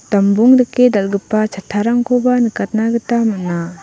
dambong dake dal·gipa chattarngkoba nikatna gita man·a.